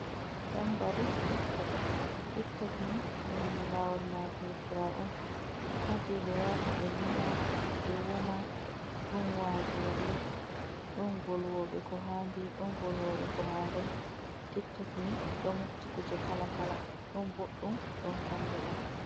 Tanbari titok, tiktokni ɗum lawol matotirar on haje be yata ɓe yima, ɓe woma, ɗon wazoɓe, ɗon volwoɓe ko handi, ɗon volwoɓe ko handai. tiktokni ɗo mofti kuje kala kala ɗon boɗɗum ɗon kalluɗum.